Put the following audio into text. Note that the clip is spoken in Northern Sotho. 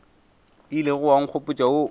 ilego wa nkgopotša wo o